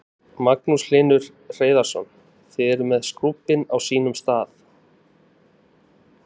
Magnús Hlynur Hreiðarsson: Þið eruð með skúbbin á sínum stað?